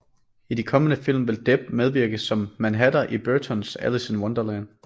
I de kommende film vil Depp medvirke som Mad Hatter i Burtons Alice in Wonderland